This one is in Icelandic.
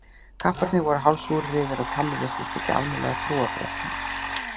Kapparnir voru hálf súrir yfir að Tommi virtist ekki almennilega trúa fréttunum.